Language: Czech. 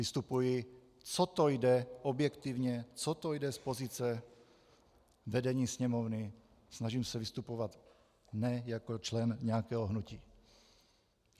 Vystupuji, co to jde objektivně, co to jde z pozice vedení Sněmovny, snažím se vystupovat ne jako člen nějakého hnutí.